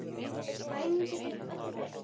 Bænin getur öllu breytt.